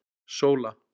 Sóla